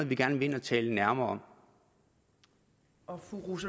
vi gerne vil tale nærmere om